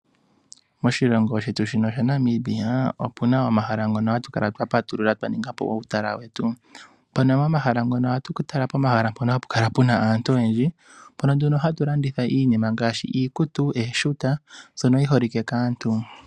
Moshilongo shetu shaNamibia opuna omahala ngoka haga kala ga patululwa twa ninga po uutala wetu. Omahala ngaka ohaga kala gena aantu oyendji, ohapu landitha iikutu osho wo ooshuta ndhoka dhi holike kaantu.